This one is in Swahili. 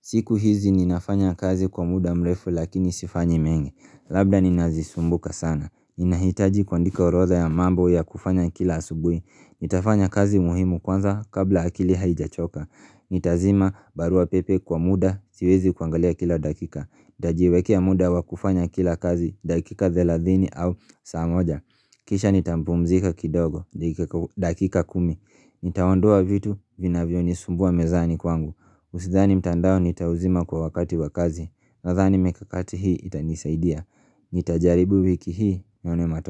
Siku hizi ninafanya kazi kwa muda mrefu lakini sifanyi mengi. Labda nina zisumbuka sana. Nina hitaji kuandika orodha ya mambo ya kufanya kila asubui. Nitafanya kazi muhimu kwanza kabla akili haijachoka. Nita zima barua pepe kwa muda, siwezi kuangalia kila dakika Nita jiwekea muda wakufanya kila kazi, dakika thelathini au saa moja Kisha nita mpumzika kidogo, dakika ku dakika kumi Nitaondoa vitu, vina vyo nisumbua mezani kwangu Usidhani mtandao nita uzima kwa wakati wakazi Nadhani mikakati hii itanisaidia Nita jaribu wiki hii, nione matok.